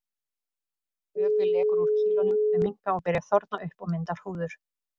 Vökvi lekur úr kýlunum, þau minnka og byrja að þorna upp og mynda hrúður.